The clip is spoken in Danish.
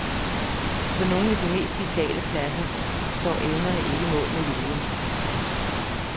På nogle af de mest vitale pladser står evnerne ikke mål med viljen.